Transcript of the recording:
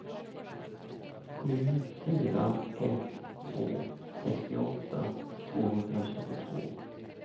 sju fyra ett två sextioåtta tvåhundratjugotvå